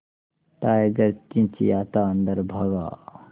tiger चिंचिंयाता अंदर भागा